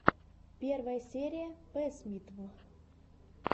первая серия пэссмитв